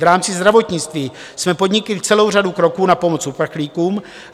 V rámci zdravotnictví jsme podnikli celou řadu kroků na pomoc uprchlíkům.